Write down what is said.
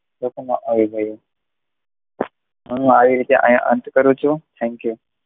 રોકમાં આવી ગયું હું આવી રીતે અહીંયા અંત કરું છું thank you